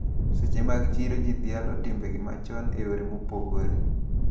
Seche mag chiro ji dhialoga timbegi machon e yore mopogre.